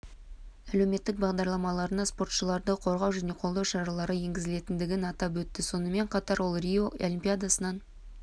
әлеуметтік бағдарламаларына спортшыларды қорғау және қолдау шаралары енгізілгендігін атап өтті сонымен қатар ол рио олимпиадасынан